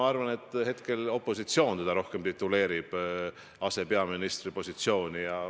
Ma arvan, et hetkel tituleerib teda asepeaministriks rohkem opositsioon.